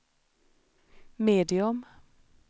medium